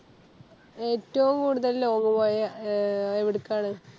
ഏറ്റോം കൂടുതല് Long പോയ അഹ് എവിടെക്കാണ്